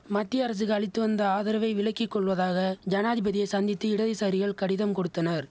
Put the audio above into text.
மத்திய அரசுக்கு அளித்து வந்த ஆதரவை விலக்கி கொள்வதாக ஜனாதிபதியை சந்தித்து இடதுசாரிகள் கடிதம் கொடுத்தனர்